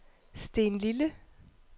Stenlille